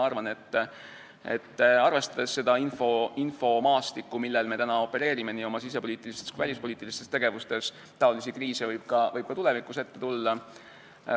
Arvestades seda infomaastikku, kus me nii oma sisepoliitilistes kui ka välispoliitilistes tegevustes opereerime, on selge, et selliseid kriise võib ka tulevikus ette tulla.